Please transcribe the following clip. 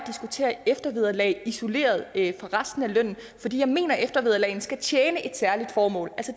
at eftervederlag isoleret fra resten af lønnen fordi jeg mener at eftervederlagene skal tjene et særligt formål